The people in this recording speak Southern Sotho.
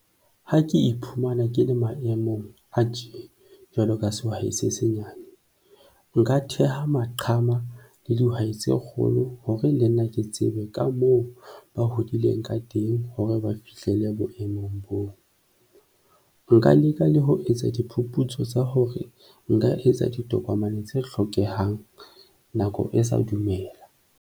Ha ke iphumana ke le maemong a tje jwaloka sehwai se senyane, nka theha maqhama le dihwai tse kgolo hore le nna ke tsebe ka moo ba hodileng ka teng hore ba fihlelle boemong boo. Nka leka le ho etsa diphuputso tsa hore nka etsa ditokomane tse hlokehang nako e sa dumela.